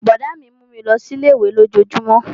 Brọ̀dá mi mú mi lọ sí ilé-ìwé lójojúmó